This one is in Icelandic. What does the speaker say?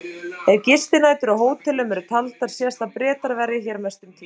Ef gistinætur á hótelum eru taldar sést að Bretar verja hér mestum tíma.